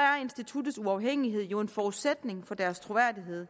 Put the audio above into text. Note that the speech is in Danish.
instituttets uafhængighed jo en forudsætning for dets troværdighed